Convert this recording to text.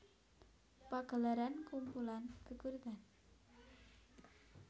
Pagelaran kumpulan geguritan